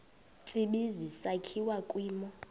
tsibizi sakhiwa kwimo